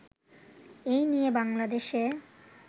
এ নিয়ে বাংলাদেশে